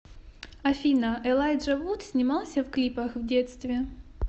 афина элайджа вуд снимался в клипах в детстве